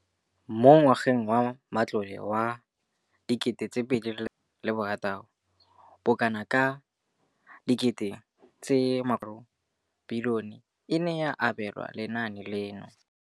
Mo ngwageng wa matlole wa 2015,16, bokanaka R5 703 bilione e ne ya abelwa lenaane leno.